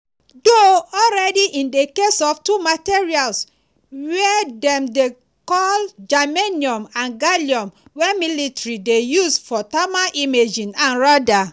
do already in di case of two materials wey dem dey call germanium and gallium wey military dey use for thermal imaging and radar.